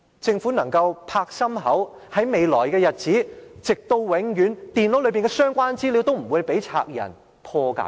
政府是否仍舊可以拍胸脯保證，在未來的日子，直至永遠，電腦內的相關資料也不會被賊人破解呢？